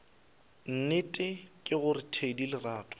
nnete ke gore thedi lerato